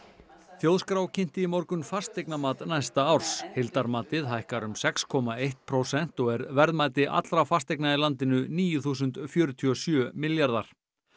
þjóðskrá kynnti í morgun fasteignamat næsta árs heildarmatið hækkar um sex komma eitt prósent og er verðmæti allra fasteigna í landinu níu þúsund fjörutíu og sjö milljarðar